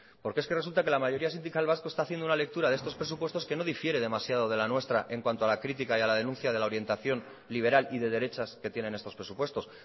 porque es que resulta que la mayoría sindical vasca está haciendo una lectura de estos presupuestos que no difiere demasiado de la nuestra en cuanto a la critica y denuncia de la orientación liberal y de derechas que tienen estos presupuestos